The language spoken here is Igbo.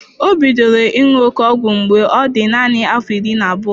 Ọ bidoro ịṅụ oké ọgwụ ike mgbe ọ dị nanị afọ iri na abụọ.